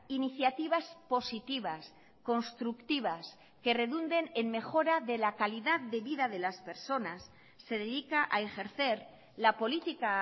iniciativas positivas constructivas que redunden en mejora de la calidad de vida de las personas se dedica a ejercer la política